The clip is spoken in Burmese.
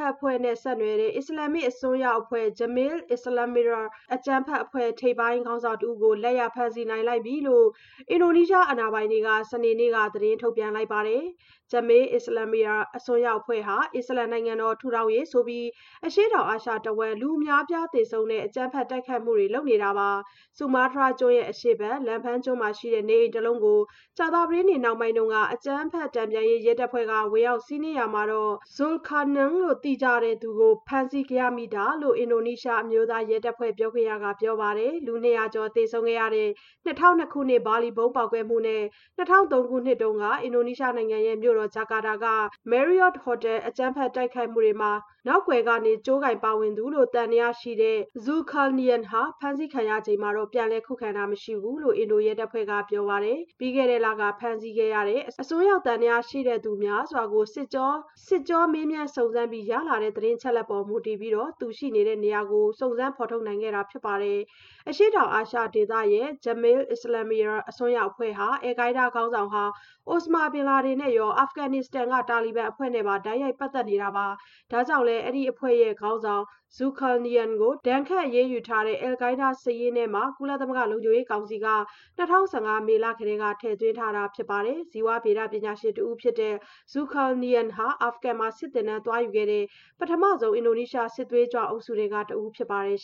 က်အဖွဲ့နဲ့ ဆက်နွှယ်တဲ့ အစ္စလာမ္မစ် အစွန်းရောက်အဖွဲ့ Jemaah Islamiyah အကြမ်းဖက်အဖွဲ့ ထိပ်ပိုင်းခေါင်းဆောင်တဦးကို လက်ရဖမ်းဆီးလိုက်နိုင်ပြီလို့ အင်ဒိုနီးရှား အာဏာပိုင်တွေက စနေနေ့က သတင်းထုတ်ပြန်လိုက်ပါတယ်။ Jemaah Islamiyah အစွန်းရောက်အဖွဲ့ဟာ အစ္စလာမ်နိုင်ငံတော် ထူထောင်ရေးဆိုပြီး အရှေ့တောင်အာရှတဝန်း လူအများအပြားသေဆုံးတဲ့ အကြမ်းဖက်တိုက်ခိုက်မှုတွေ လုပ်ဆောင်နေတာပါ။ ဆူမားတြားကျွန်းအရှေ့ဘက် Lampung ကျွန်းမှာရှိတဲ့ နေအိမ်တလုံးကို ကြာသပတေးနေ့ နှောင်းပိုင်းတုန်းက အကြမ်းဖက်မှု တန်ပြန်ရေး ရဲတပ်ဖွဲ့က ဝင်ရောက်စီးနင်းရာမှာ Zulkarnaen လို့ သိကြတဲ့ Aris Sumarson ကို ဖမ်းဆီးရမိတာဖြစ်တယ်လို့ အင်ဒိုနီးရှားအမျိုးသားရဲတပ်ဖွဲ့ ပြောခွင့်ရသူက ပြောပါတယ်။ လူ ၂၀၀ ကျော် သေဆုံးခဲ့ရတဲ့ ၂၀၀၂ ခုနှစ် ဘာလီဗုံးပေါက်ကွဲမှုနဲ့ ၂၀၀၃ ခုနှစ်က အင်ဒိုနီးရှားနိုင်ငံမြို့တော် ဂျကာတာက Marriott Hotel အကြမ်းဖက်တိုက်ခိုက်မှုတွေမှာ နောက်ကွယ်က ကြိုးကိုင်ပါဝင်သူလို့ သံသယရှိခဲ့တဲ့ Zulkarnaen ဟာ ဖမ်းဆီးခံရစဉ် ပြန်လည်ခုခံတာမျိုး မရှိခဲ့ဘူးလို့ အင်ဒိုရဲတပ်ဖွဲ့က ပြောပါတယ်။ ပြီးခဲ့တဲ့လက ဖမ်းဆီးခဲ့တဲ့ အစွန်းရောက်သံသယရှိသူတွေ များစွာကို စစ်ကြောမေးမြန်း စစ်ဆေးပြီး ရလာတဲ့ သတင်းအချက်အလက်ပေါ် မူတည်ပြီး Zulkarnaen ရဲ့နေရာကို စုံစမ်းဖော်ထုတ်နိုင်ခဲ့တာ ဖြစ်ပါတယ်။ အရှေ့တောင်အာရှဒေသရဲ့ Jemaah Islamiyah အစွန်းရောက်အဖွဲ့ဟာ Al-Qaida ခေါင်းဆောင်ဟောင်း အိုစမာဘင်လာဒင်နဲ့ရော အာဖဂနစ္စတန်က တာလီဘန်အဖွဲ့နဲ့ပါ တိုက်ရိုက်ပတ်သက်မှုတွေ ရှိတာပါ။ ဒါကြောင့်လည်း ဒီအဖွဲ့ခေါင်းဆောင် Zulkarnaen ကို ဒဏ်ခတ်အရေးယူထားတဲ့ Al-Qaida စာရင်းထဲ ကုလသမဂ္ဂ လုံခြုံရေးကောင်စီကနေ ၂၀၀၅ မေလကတည်းက ထည့်သွင်းထားပါတယ်။ ဇီဝဗေဒပညာရှင်တဦးဖြစ်တဲ့ Zulkarnaen ဟာ အာဖဂန်မှာ စစ်သင်တန်းသွားယူခဲ့တဲ့ ပထမဦးဆုံး အင်ဒိုနီးရှား စစ်သွေးကြွအုပ်စုထဲက တဦးဖြစ်ပါတယ်။